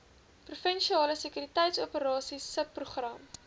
provinsiale sekuriteitsoperasies subprogram